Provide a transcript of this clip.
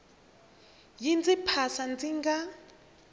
yi ndzi phasa ndzi nga